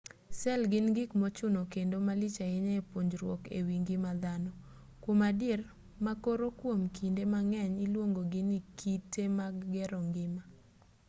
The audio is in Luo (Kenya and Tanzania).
sel gin gik mochuno kendo malich ahinya e puonjruok ewi ngima dhano kuom adier ma koro kuom kinde mang'eny iluongo gi ni kite mag gero ngima